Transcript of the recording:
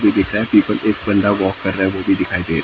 दिख रहा है पे एक बंदा वॉक कर रहा है वो भी दिखाई दे--